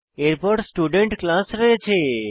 এরপর student class রয়েছে